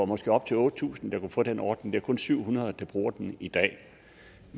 måske var op til otte tusind der kunne få den ordning er kun syv hundrede der bruger den i dag